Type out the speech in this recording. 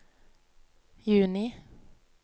juni